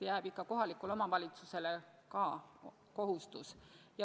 Jääb ikka kohalikule omavalitsusele ka kohustus.